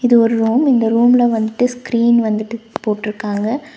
இது ஒரு ரூம் இந்த ரூம்ல வந்துட்டு ஸ்கிரீன் வந்துட்டு போட்டுருக்காங்க.